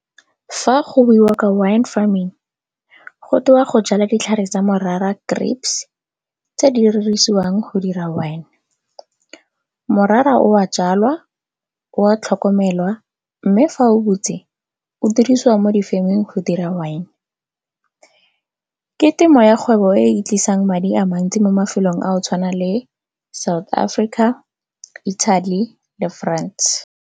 Fa go buiwa ka wine farming go tewa go jala ditlhare tsa morara grapes, tse di dirisiwang go dira wine. Morara o a jalwa, o a tlhokomelwa mme fa o botse o dirisiwa mo di farming go dira wine. Ke temo ya kgwebo e e tlisang madi a mantsi mo mafelong a go tshwana le South Africa, Italy le France.